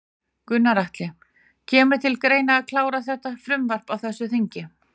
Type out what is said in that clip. Gunnar Atli: Kemur til greina að klára þetta frumvarp á þessu þingi?